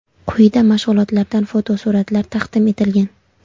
Quyida mashg‘ulotlardan fotosuratlar taqdim etilgan.